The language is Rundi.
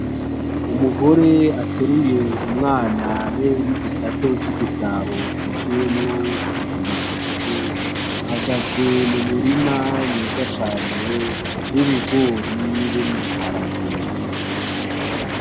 Umugore ateruye umwana be n'igisate c'igisabo cuzuyemwo ibiharage ahagaze mu murima mwiza cane w'ibigori hamwe n'ibiharage.